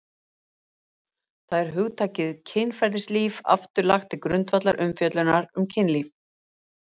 þar er hugtakið kynferðislíf aftur lagt til grundvallar umfjöllunar um kynlíf